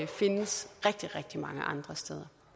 findes rigtig rigtig mange andre steder